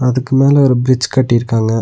அதுக்கு மேல ஒரு பிரிட்ஜ் கட்டிருக்காங்க.